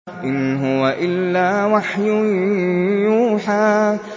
إِنْ هُوَ إِلَّا وَحْيٌ يُوحَىٰ